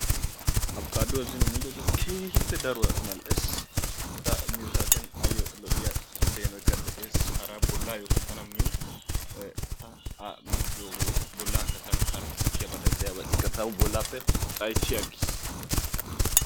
Abikaaduwa zino miidooge keehippe daruwaa mal"ees. Ta miyo saatiyaan ayyo lo"iyaa peenoykka de'ees. Hara bollayyokka tana min ta A miidooge bollaka tana hara sakkiyaabatikka tawu bollaappe xayssi agiis.